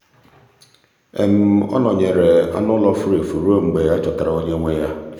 ọ nọnyeere anụ ụlọ furu efu ruo mgbe a chọtara onye nwe ya.